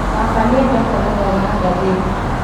Baba nĩendete gũthoma ngathĩti